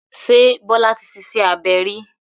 Ṣé Bọ́lá ti ṣiṣẹ́ abẹ rí?